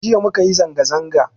Jiya mukayi zanga-zanga